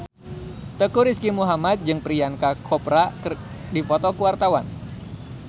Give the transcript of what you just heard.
Teuku Rizky Muhammad jeung Priyanka Chopra keur dipoto ku wartawan